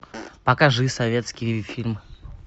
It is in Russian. покажи советский фильм